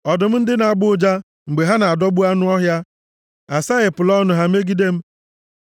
Ọdụm ndị na-agbọ ụja mgbe ha na-adọgbu anụ ọhịa asaghepụla ọnụ ha megide m.